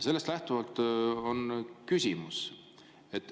Sellest lähtuvalt on mul küsimus.